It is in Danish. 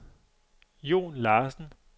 Jon Larsen